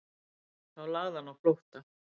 Þá lagði hann á flótta